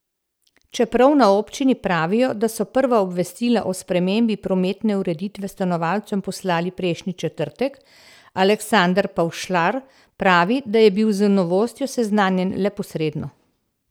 Čeprav na občini pravijo, da so prva obvestila o spremembi prometne ureditve stanovalcem poslali prejšnji četrtek, Aleksander Pavšlar pravi, da je bi z novostjo seznanjen le posredno.